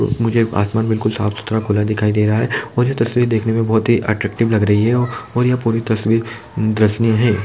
मुझे आसमान बिल्कुल साफ़-सुथरा खुला दिखाई दे रहा है ये जो तस्वीर देखने में बोहत अट्रेक्टिव लग रही है और यह पूरी तस्वीर दर्शनीय है।